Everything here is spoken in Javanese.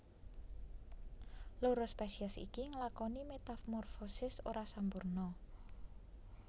Loro spesies iki nglakoni metamorfosis ora sampurna